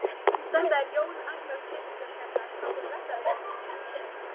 Þetta er Jón Agnar Pétursson hérna, komdu blessaður.